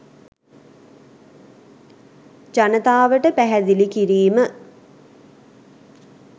ජනතාවට පැහැදිලි කිරීම